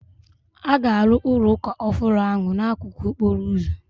A ga-arụ ụlọ ụka ọhụrụ ahụ n'akụkụ okporo ụzọ.